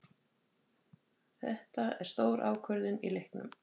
Þetta er stór ákvörðun í leiknum.